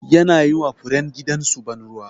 Yana yi ma furen gidan su ban ruwa.